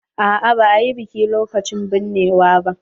A'a ba a yi biki lokacin binnewa ba.